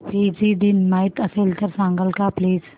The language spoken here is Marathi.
फिजी दिन माहीत असेल तर सांगाल का प्लीज